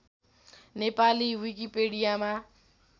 Nepali विकिपिडियामा